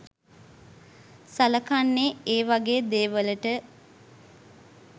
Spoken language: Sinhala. සලකන්නේ ඒ වගේ දේවලට.